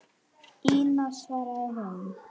Ína, svaraði hún.